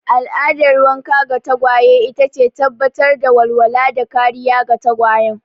Al'adar wanka ga tagwaye ita ce tabbatar da walwala da kariya ga tagwayen.